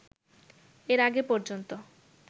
এর আগে পর্যন্ত